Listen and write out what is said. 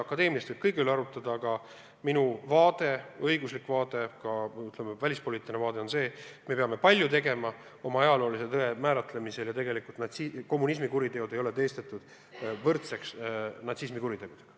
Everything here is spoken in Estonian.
Akadeemiliselt võib kõige üle arutleda, aga minu vaade, õiguslik vaade, ka välispoliitiline vaade on see, et me peame oma ajaloolise tõe määratlemisel veel palju ära tegema ja tegelikult ei ole kommunismi kuritegusid natsismi kuritegudega võrdsustatud.